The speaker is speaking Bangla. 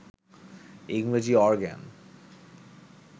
ইংরেজি অরগ্যান